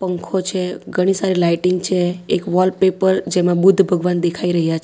પંખો છે ઘણી સારી લાઇટિંગ છે એક વોલપેપર જેમાં બુદ્ધ ભગવાન દેખાઈ રહ્યા છે.